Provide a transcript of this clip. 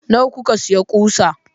Nawa kuka sayi ƙusa?